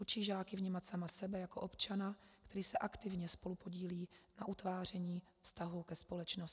Učí žáky vnímat sama sebe jako občana, který se aktivně spolupodílí na utváření vztahů ke společnosti.